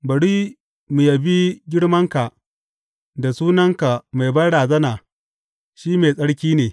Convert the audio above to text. Bari mu yabi girmanka da sunanka mai banrazana, shi mai tsarki ne.